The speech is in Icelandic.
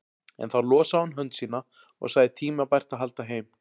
En þá losaði hún hönd sína og sagði tímabært að halda heim.